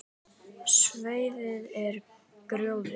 Svæðið er gróið.